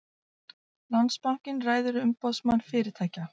Landsbankinn ræður Umboðsmann fyrirtækja